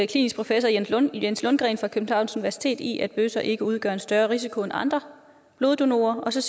klinisk professor jens lundgren jens lundgren fra københavns universitet i at bøsser ikke udgør en større risiko end andre bloddonorer og så